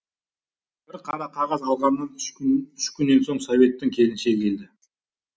қара қағаз алғаннан үш күннен соң советтің келіншегі келді